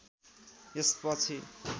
यस पछि